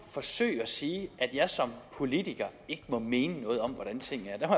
forsøger at sige at jeg som politiker ikke må mene noget om hvordan tingene er